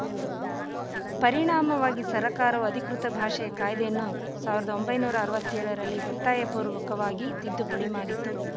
ಪರಿಣಾಮವಾಗಿ ಸರಕಾರವು ಅಧಿಕೃತ ಭಾಷಾ ಕಾಯ್ದೆಯನ್ನು ಸಾವಿರದ ಒಂಬೈನೂರ ಅರವತ್ತೇಳರಲ್ಲಿ ಒತ್ತಾಯಪೂರ್ವಕವಾಗಿ ತಿದ್ದುಪಡಿ ಮಾಡಿತು